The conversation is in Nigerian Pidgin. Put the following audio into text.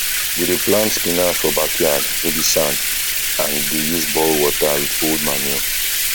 we dey plant spinach for backyard wey be sand and dey use borehole water with old manure